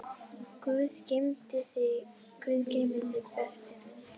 Guð geymi þig, besti minn.